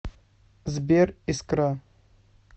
сбер искра